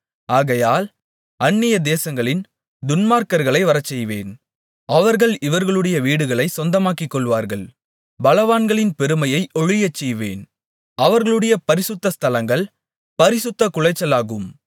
ஆகையால் அந்நியதேசங்களின் துன்மார்க்கர்களை வரச்செய்வேன் அவர்கள் இவர்களுடைய வீடுகளைச் சொந்தமாக்கிக்கொள்வார்கள் பலவான்களின் பெருமையை ஒழியச்செய்வேன் அவர்களுடைய பரிசுத்த ஸ்தலங்கள் பரிசுத்தக்குலைச்சலாகும்